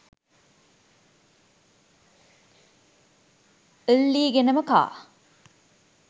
ල්ලීගෙනම කා